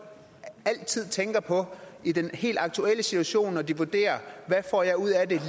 altid tænker på i den helt aktuelle situation når de vurderer hvad får jeg ud af det